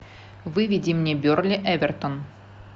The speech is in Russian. выведи мне бернли эвертон